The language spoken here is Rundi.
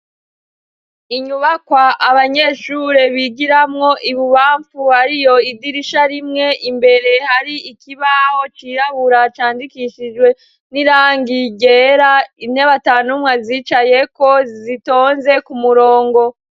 Inyubakwa abanyeshure bigiramwo ibubamfu hariyo idirisha rimwe imbere hari ikibaho cirabura candikishijwe n'irangi ryera, intebe ata n'umwe azicayeko zitonze ku murongo.